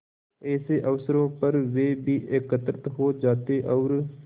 ऐसे अवसरों पर वे भी एकत्र हो जाते और